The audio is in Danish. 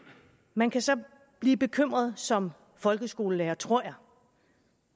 man kan så blive bekymret som folkeskolelærer tror jeg